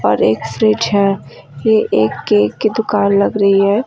और एक फ्रिज है ये एक केक की दुकान लग रही है।